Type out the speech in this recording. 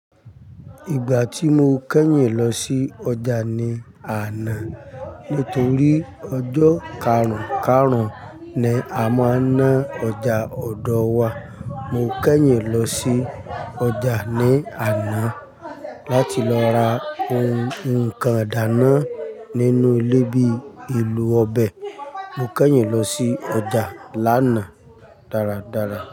Ìgbà tí mo kẹ́yìn lọ sí ọjà ní àná nítorí ọjọ́ karùn-karùn ni a máa ń ná ọjà ọ̀dọ̀ wa. Mo kẹ́yìn lọ sí ọjà ní àná láti lọ ra ǹkan idáná nínú ilé bíi elo ọbẹ̀. Mo kẹ́yìn lọ sí ọjà lánàá dáradára.